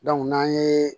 n'an ye